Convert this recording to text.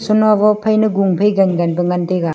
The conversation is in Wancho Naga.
senua goh phai na gung phai gan gan pa ngan taega.